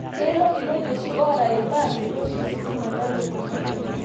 Kelo ilojeshi oota irbaa metooshi ositima le lukunya